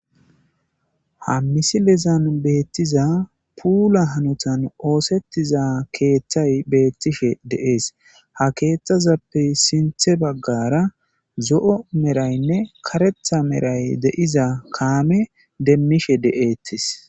Ha misilezan betiza puula hanotan oosetiza keethay beetishe de'esi. Ha keethazappe sintha bagara zo'o medhayinne karetha medhayi de'za kaame demishe de'etesi.